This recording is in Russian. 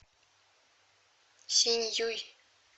синьюй